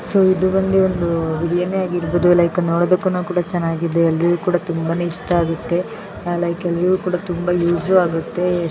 So ಇದು ಒಂದು ಬಿರಿಯಾನಿ ಆಗಿರಬಹುದು ಲೈಕ್ ನೋಡೋದಕ್ಕೂನು ಕೂಡ ಚೆನ್ನಾಗಿದೆ ಅಲ್ಲಿ ತುಂಬಾ ಇಷ್ಟ ಆಗುತ್ತೆ ಸೋ ಎಲ್ಲರಿಗೂನು ಕೂಡ ಯೂಸ್ ಆಗುತ್ತೆ.